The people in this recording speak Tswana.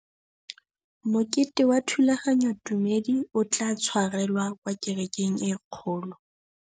Mokete wa thulaganyôtumêdi o tla tshwarelwa kwa kerekeng e kgolo.